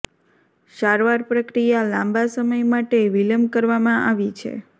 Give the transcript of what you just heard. સારવાર પ્રક્રિયા લાંબા સમય માટે વિલંબ કરવામાં આવી છે